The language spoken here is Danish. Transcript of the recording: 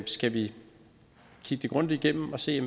skal vi kigge det grundigt igennem og se